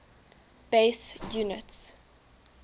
base units